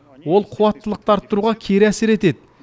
ол қуаттылықты арттыруға кері әсер етеді